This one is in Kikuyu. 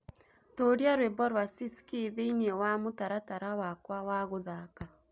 tuuria rwĩmbo rwa siskii thĩĩni wa mũtaratara wakwa wa guthaka